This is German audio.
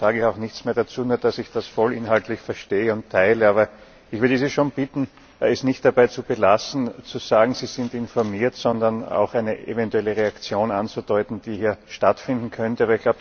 Darum sage ich auch nichts mehr dazu, nur, dass ich das vollinhaltlich verstehe und teile. Ich würde Sie aber schon bitten, es nicht dabei zu belassen, zu sagen, Sie sind informiert, sondern auch eine eventuelle Reaktion anzudeuten, die hier stattfinden könnte.